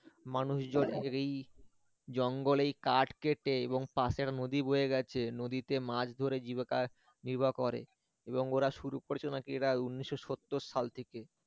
মানুষজন এই জঙ্গলে কাঠ কেটে এবং পাশে একটা নদী বয়ে গেছে নদীতে মাছ ধরে জীবিকা নির্বাহ করে এবং ওরা শুরু করেছিল নাকি এরা উনিশ শ সত্তর সাল থেকে